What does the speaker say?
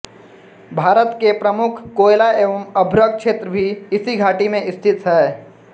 भारत के प्रमुख कोयला एवं अभ्रक क्षेत्र भी इसी घाटी में स्थित हैं